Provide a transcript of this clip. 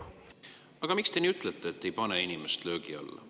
Aga miks te ütlete, et te ei pane inimest löögi alla?